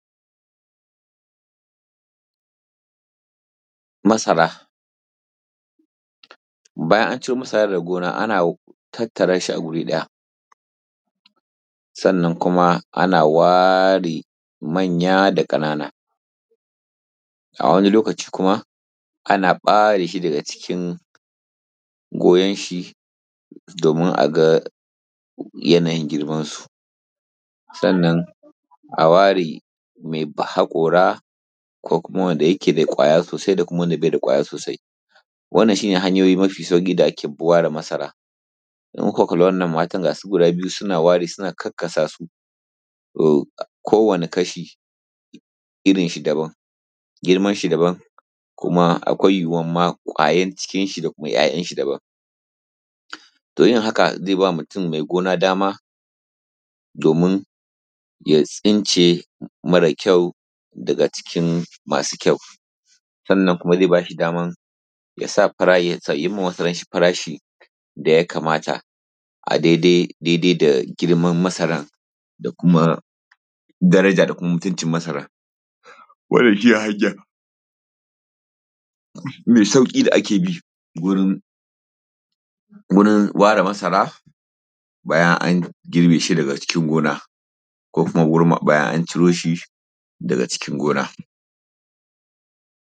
Masara, bayan an ciro masara daga gona ana tattara shi a guri ɗaya sannan kuma ana ware manya da Ƙanana, a wani lokaci kuma ana ɓare shi daga cikin goyon shi domin a ga yanayin girmansu,, sannan a ware mai ba hakora ko kuma wanda yake mai kwaya sosai, wannan shi ne hanyoyi mafi sauƙi da ake ware masara in kuka kalli wannan matan gas u guda biyu suna wari suna karkasasu to ko wani kasha irin shi daban, girmansu daban, kuma akwai yiwuwan ma ƙwayar cikin shi da kuma `ya`yan shi daban, to yin haka zai ba mutum mai gona dama domin ya tsince marar kyau daga cikin masu kyau, sannan kuma zai ba shi daman ya sa fara, yayi ma wasu farashi da ya kamata a daidai daidai da girman masaran da kuma daraja da kuma mutuncin masaran, wannan shi ne hanya mai sauki da ake bi wurin wurin ware masara bayan an girbe shi daga cikin gona ko kuma wurin bayan an ciro shi daga cikin gona.